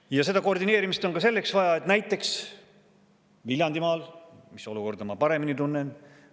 Ja seda koordineerimist on vaja ka selliseks puhuks, nagu näiteks Viljandimaal, mille olukorda ma paremini tunnen.